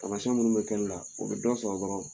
taamasiyɛn minnu bɛ kɛ ne la o bɛ dɔ sɔrɔ dɔrɔn